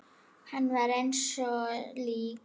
Hann var eins og lík.